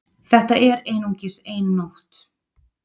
Þetta er einungis ein nótt